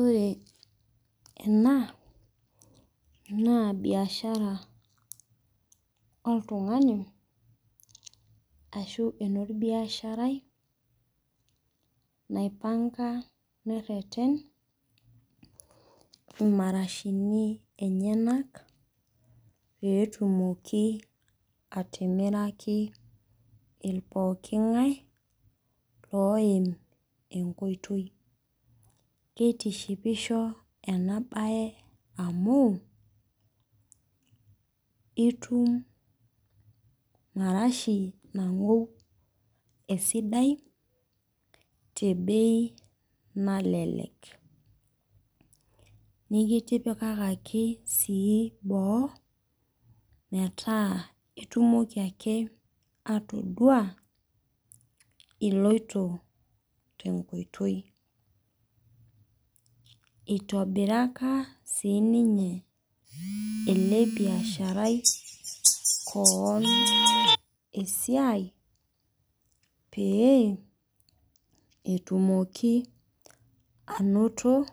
Ore ena naa bishara oltungani nateretena imarashuni enyanak peyie etumoki atimiraki pooki ngae oim enkoitoi. Keitishipo ena bae amuu itum marashi nangou esidai too mpisai kutik. Kitipikaki sii boo metaa itumoki ake atodua ilouto tenkoitoi. Eitobiraka siininye ele biasharai koon esia peyie etumoki anoto